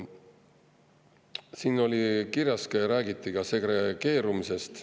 Siin räägiti ka segregeerumisest.